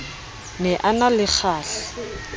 ne a na le kgahla